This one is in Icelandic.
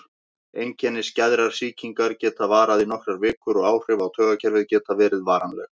Einkenni skæðrar sýkingar geta varað í nokkrar vikur og áhrif á taugakerfið geta verið varanleg.